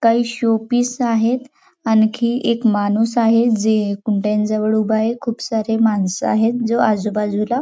काही showpiece आहेत आणखी एक माणूस आहे जे कुंड्या जवळ उभ आहे खुप सारे माणस आहेत जे आजूबाजूला--